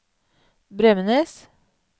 Bremnes